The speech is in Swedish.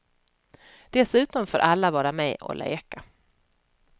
Dessutom får alla vara med och leka.